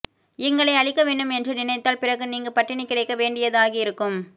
எங்களை அழிக்க வேண்டும் என்று நினைத்தால் பிறகு நீங்க பட்டிணி கிடைக்க வேண்டியதாகயிருக்கும்